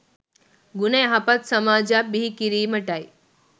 ගුණ යහපත් සමාජයක් බිහි කිරීමටයි